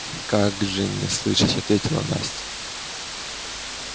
как же не слышать ответила настя